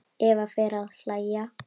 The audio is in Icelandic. Eva fer að hlæja.